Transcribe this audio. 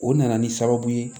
O nana ni sababu ye